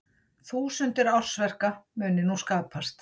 Þúsundir ársverka muni nú skapast